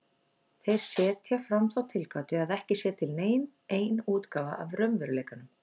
Þeir setja fram þá tilgátu að ekki sé til nein ein útgáfa af raunveruleikanum.